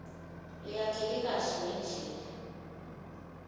leyakheke kahle ngendlela